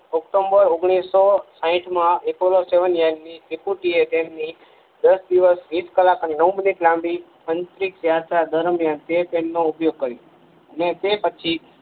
October ઓગણીસો સાહીઠ માં અપોલો સેવન યાન ની ત્રિપુટી એ તેમ ની દસ દિવસ વીસ ક્લાક અને નવ મિનીટ લાંબી અંતરીક્ષ યાત્રા દરમિયાન તે પેન નો ઉપયોગ કર્યો અને તે પછી